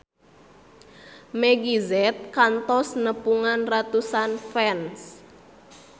Meggie Z kantos nepungan ratusan fans